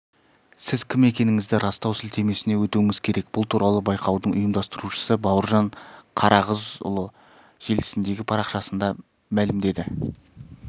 сіз кім екендігіңізді растау сілтемесіне өтуіңіз керек бұл туралы байқаудың ұйымдастырушысы бауыржан қарағызұлы желісіндегі парақшасында мәлімдеді